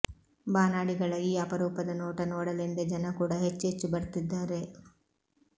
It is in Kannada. ಬಾನಾಡಿಗಳ ಈ ಅಪರೂಪದ ನೋಟ ನೋಡಲೆಂದೇ ಜನ ಕೂಡ ಹೆಚ್ಚೆಚ್ಚು ಬರ್ತಿದ್ದಾರೆ